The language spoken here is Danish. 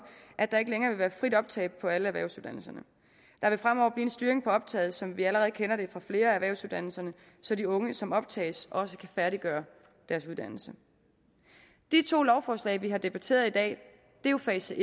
at der ikke længere vil være frit optag på alle erhvervsuddannelser der vil fremover blive en styring af optaget som vi allerede kender det fra flere af erhvervsuddannelserne så de unge som optages også kan færdiggøre deres uddannelse de to lovforslag vi har debatteret i dag er jo fase